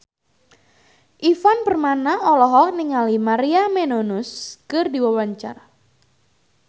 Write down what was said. Ivan Permana olohok ningali Maria Menounos keur diwawancara